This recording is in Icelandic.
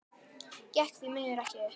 Gekk því miður ekki upp.